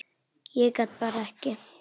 Ég bara gat ekki.